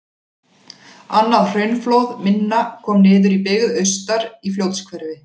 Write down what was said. Annað hraunflóð minna kom niður í byggð austar, í Fljótshverfi.